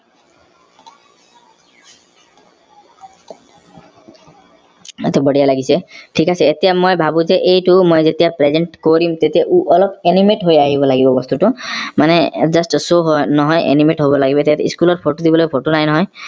এইটো বঢ়িয়া লাগিছে থিক আছে এতিয়া মই ভাবো যে এইটো মই যেতিয়া present কৰিম তেতিয়া উহ অলপ animate হৈ আহিব লাগিব বস্তুটো মানে just show নহয় animate হব লাগিব এতিয়া school ত photo দিবলৈ photo নাই নহয়